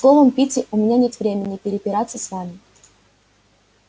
словом питти у меня нет времени препираться с вами